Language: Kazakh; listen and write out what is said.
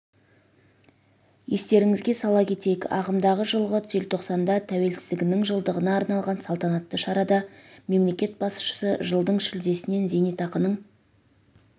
естеріңізге сала кетейік ағымдағы жылғы желтоқсанда тәуелсіздігінің жылдығына арналған салтанатты шарада мемлекет басшысы жылдың шілдесінен зейнетақының